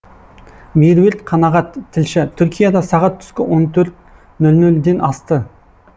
меруерт қанағат тілші түркияда сағат түскі он төрт нөл нөлден асты